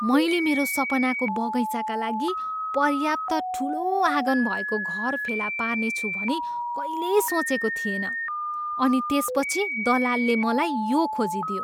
मैले मेरो सपनाको बगैँचाका लागि पर्याप्त ठुलो आँगन भएको घर फेला पार्नेछु भनी कहिल्यै सोचेको थिएन , अनि त्यसपछि दलालले मलाई यो खोजिदियो!